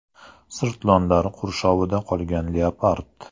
Sirtlonlar qurshovida qolgan leopard.